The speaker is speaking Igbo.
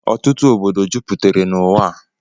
Ọtụtụ ọbọdọ jụputere n'ụwa a.